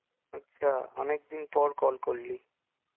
আচ্ছা, অনেকদিনপর call করলি